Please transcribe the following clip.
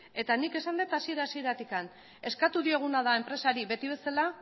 eta nik esan dut hasiera hasieratik eskatu dioguna da enpresari beti bezala